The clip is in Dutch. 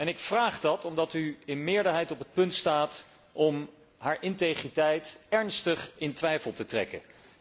Ik vraag dat omdat u in meerderheid op het punt staat om haar integriteit ernstig in twijfel te trekken.